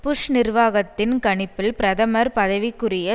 push நிர்வாகத்தின் கணிப்பில் பிரதமர் பதவிக்குரிய